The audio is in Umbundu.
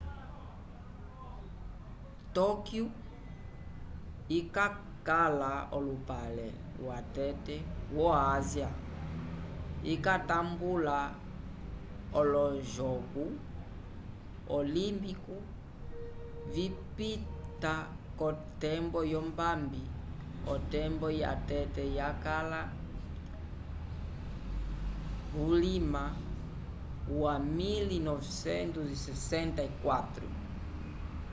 tokyu ikakala olupale watete wo-ásia ikatambula olojogo olimpiku vipita k'otembo yombambi otemba yatete yakala vulima wa 1964